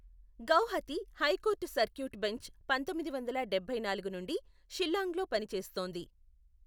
Guwahati high court circuit bench పంతొమ్మిది వందల డబ్బై నాలుగు నుండి షిల్లాంగ్లో పనిచేస్తోంది.